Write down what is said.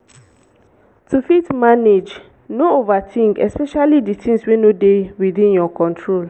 to fit manage no overthink especially the things wey no dey within your control